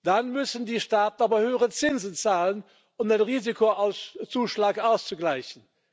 Dann müssen die Staaten aber höhere Zinsen zahlen, um den Risikozuschlag auszugleichen.